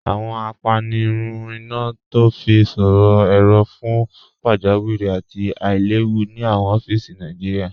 Awọn àpànirùn iná tó fi sọ̀rọ̀ èró̀ fún pàjàwìrí àti àìlẹ̀wù ni awọn ọfíìsì Nàìjíríà.